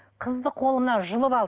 қызды қолымнан жұлып алды